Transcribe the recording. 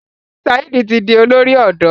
Saheed tí dì olórí odò.